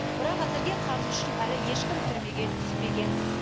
бірақ әзірге қарызы үшін әлі ешкім түрмеге түспеген